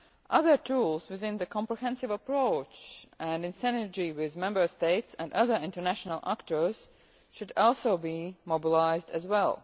Other tools within the comprehensive approach and in synergy with Member States and other international actors could also be mobilised as